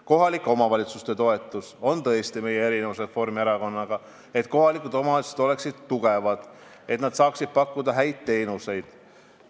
Kohalike omavalitsuste toetamisel, et nad oleksid tugevad ja saaksid pakkuda häid teenuseid, on meil Reformierakonnaga tõesti erinevusi.